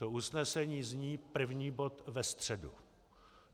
To usnesení zní - první bod ve středu.